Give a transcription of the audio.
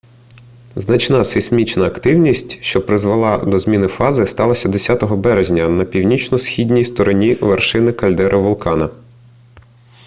значна сейсмічна активність що призвела до зміни фази сталася 10 березня на північно-східній стороні вершини кальдери вулкана